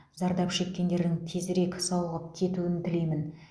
зардап шеккендердің тезірек сауығып кетуін тілеймін